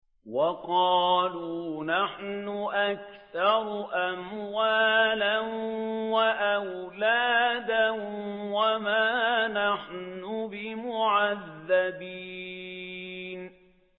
وَقَالُوا نَحْنُ أَكْثَرُ أَمْوَالًا وَأَوْلَادًا وَمَا نَحْنُ بِمُعَذَّبِينَ